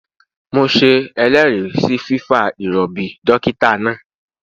Mo se eléèrí sí fífa ìròbì dókítà náà